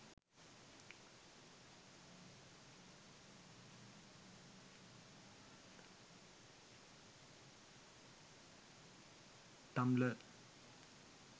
tumblr